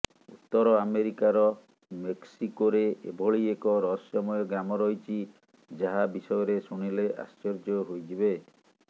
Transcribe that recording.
ଉତ୍ତର ଆମେରିକାର ମେସ୍କିକୋରେ ଏଭଳି ଏକ ରହସ୍ୟମୟ ଗ୍ରାମ ରହିଛି ଯାହା ବିଷୟରେ ଶୁଣିଲେ ଆଶ୍ଚର୍ୟ୍ୟ ହୋଇଯିବେ